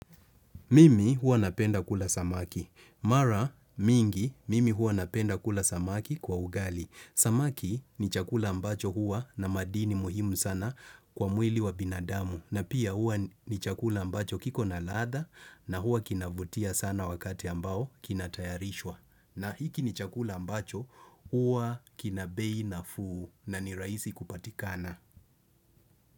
Mimi hua napenda kula samaki. Mara mingi, mimi hua napenda kula samaki kwa ugali. Samaki ni chakula ambacho hua na madini muhimu sana kwa mwili wa binadamu. Na pia hua ni chakula ambacho kiko na ladha na hua kinavutia sana wakati ambao kinatayarishwa. Na hiki ni chakula ambacho hua kina bei nafuu na ni rahisi kupatikana.